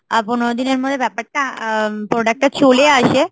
আ পনেরো দিনের মধ্যে ব্যাপারটা আ~ product টা চলে আসে